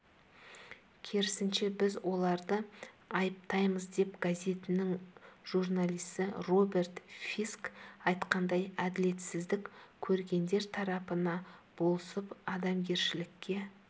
керісінше біз оларды айыптаймыз деп газетінің журналисі роберт фиск айтқандай әділетсіздік көргендер тарапына болысып адамгершілікке